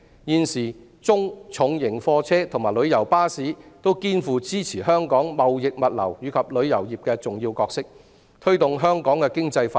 現時中、重型貨車和旅遊巴士均肩負支持香港貿易物流及旅遊業的重要角色，推動香港的經濟發展。